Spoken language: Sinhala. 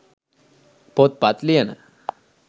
පොත්පත් ලියන,